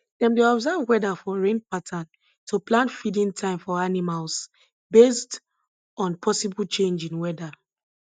dem dey observe weather for rain pattern to plan feeding time for animals based on possible change in weather